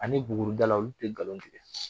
Ani buguridala olu tɛ nkalon tigɛ